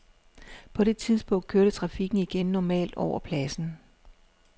På det tidspunkt kørte trafikken igen normalt over pladsen.